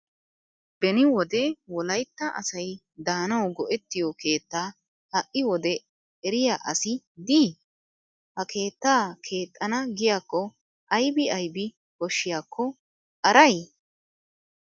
Beni wode wolayitta asayi daanawu go'ettiyoo keettaa ha'i wdee eriyaa asayi dii? Ha keettaa keexxana giyaakko ayibi ayibi koshshiyakko arayi?